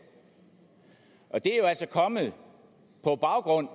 kommet på baggrund